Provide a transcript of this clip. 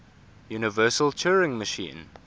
universal turing machine